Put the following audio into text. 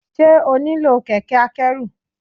Ṣé o nílò kẹ̀kẹ́ akẹ́rù.